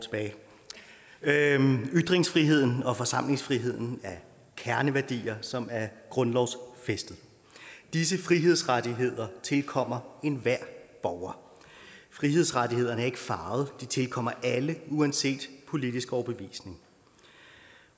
ytringsfriheden og forsamlingsfriheden er kerneværdier som er grundlovsfæstet og disse frihedsrettigheder tilkommer enhver borger frihedsrettighederne er ikke farvede de tilkommer alle uanset politisk overbevisning